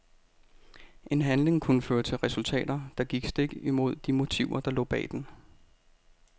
En handling kunne føre til resultater, der gik stik imod de motiver der lå bag den.